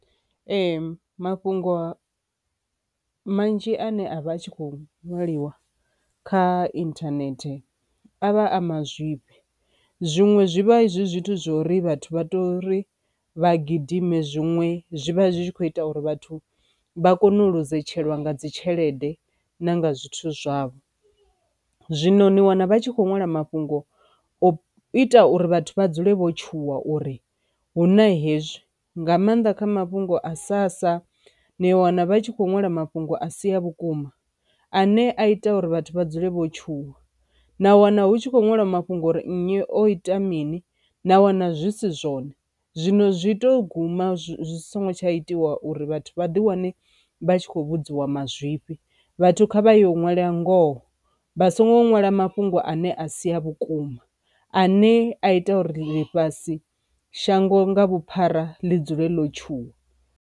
Ee mafhungo manzhi ane a vha a tshi kho ṅwaliwa kha internet a vha a mazwifhi, zwiṅwe zwivha zwithu zwa uri vhathu vha tori vha gidime zwiṅwe zwi vha zwi tshi kho ita uri vhathu vha kone u loser tsheelwa nga dzi tshelede na nga zwithu zwavho. Zwino ni wana vha tshi kho ṅwala mafhungo o ita uri vhathu vha dzule vho tshuwa uri hu na hezwi nga maanḓa kha mafhungo a sassa ni wana vha tshi kho ṅwala mafhungo a si a vhukuma, ane a ita uri vhathu vha dzule vho tshuwa na wana hu tshi khou ṅwalwa mafhungo uri nnyi o ita mini na wana zwisi zwone, zwino zwi to guma zwi songo tsha itiwa uri vhathu vha ḓi wane vha tshi khou vhudziwa mazwifhi, vhathu kha vha ya u ṅwala ngoho vha songo nwala mafhungo ane a si a vhukuma a ne a ita uri ḽifhasi shango nga vhuphara ḽi dzule ḽo tshuwa.